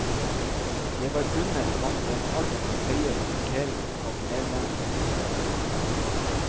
Det var under han den alt for høye rapporteringen av medlemmer startet.